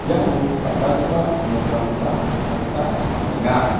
iano dal·dalgipa nokrangkoba nikna gita man·enga.